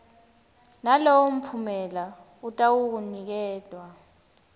nalowo mphumela atawuniketwa